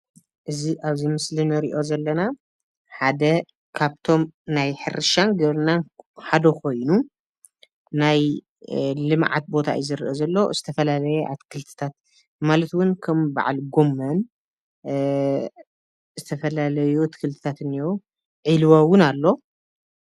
እዚ አብዚ ምስሊ እንሪኦ ዘለና ሓደ ካብቶም ናይ ሕርሻን ግብርናን ሓደ ኮይኑ ናይ ልምዓት ቦታ እዩ ዝረአ ዘሎ ዝተፈላለየ አትክልትታት ማለት እውን ከም በዓል ጎመን ዝተፈላለዩ አትክልትታት እኒአው ዒልዎ እውን አሎ።